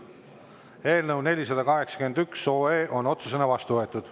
Eelnõu 481 on otsusena vastu võetud.